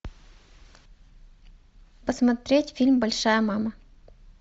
посмотреть фильм большая мама